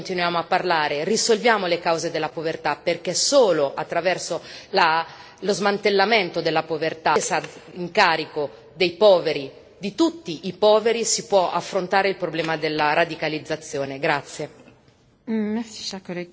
Oggi è importante, oggi continuiamo a parlare, risolviamo le cause della povertà, perché solo attraverso lo smantellamento della povertà, la presa in carico dei poveri, di tutti i poveri, si può affrontare il problema della radicalizzazione.